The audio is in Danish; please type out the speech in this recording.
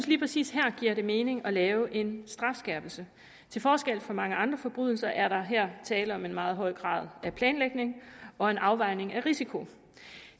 lige præcis her giver det mening at lave en strafskærpelse til forskel fra mange andre forbrydelser er der her tale om en meget høj grad af planlægning og en afvejning af risiko